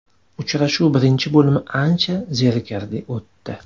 Uchrashuv birinchi bo‘limi ancha zerikarli o‘tdi.